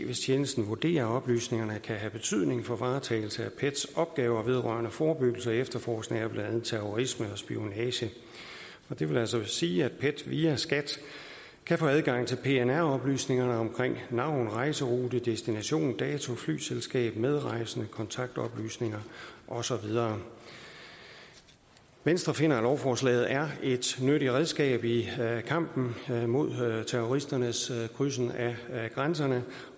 hvis tjenesten vurderer at oplysningerne kan have betydning for varetagelse af pets opgaver vedrørende forebyggelse og efterforskning af blandt andet terrorisme og spionage det vil altså sige at pet via skat kan få adgang til pnr oplysningerne om navn rejserute destination dato flyselskab medrejsende kontaktoplysninger og så videre venstre finder at lovforslaget er et nyttigt redskab i kampen mod mod terroristernes krydsning af grænserne